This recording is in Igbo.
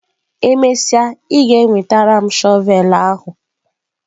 E mesịa, ị ga-enwetara m shọvel ahụ!